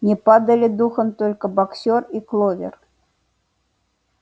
не падали духом только боксёр и кловер